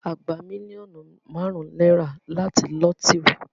A gbà mílíọ̀nù márùn náírà láti lotiri